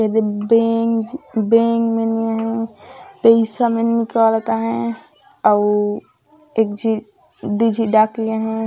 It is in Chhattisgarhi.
एदे बैंक झ बैंक मन निया हैं पईसा मन निकालता हैं अउ एक झी दु झी डाकिया हैं।